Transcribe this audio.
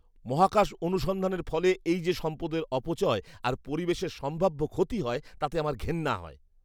মহাকাশ অনুসন্ধানের ফলে এই যে সম্পদের অপচয় আর পরিবেশের সম্ভাব্য ক্ষতি হয় তাতে আমার ঘেন্না হয়।